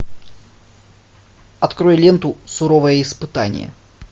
открой ленту суровое испытание